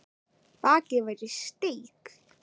Bakið var í steik